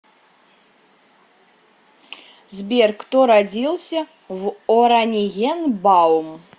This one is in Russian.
сбер кто родился в ораниенбаум